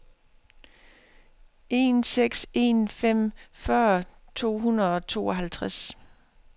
en seks en fem fyrre to hundrede og otteoghalvtreds